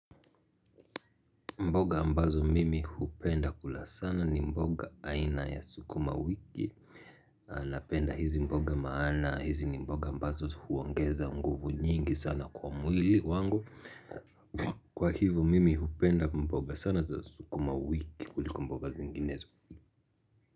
Mboga ambazo mimi hupenda kula sana ni mboga aina ya sukuma wiki. Napenda hizi mboga maana, hizi ni mboga mbazo huongeza nguvu nyingi sana kwa mwili wangu. Kwa hivyo mimi hupenda mboga sana za sukumawiki kuliko mboga zinginezo.